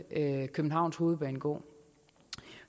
københavns hovedbanegård